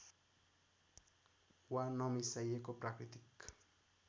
वा नमिसाइएको प्राकृतिक